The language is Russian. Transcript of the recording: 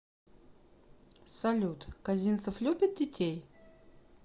салют козинцев любит детей